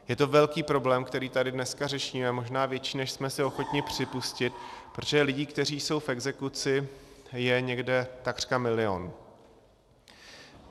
Je to velký problém, který tady dneska řešíme, možná větší, než jsme si ochotni připustit, protože lidí, kteří jsou v exekuci, je někde takřka milion.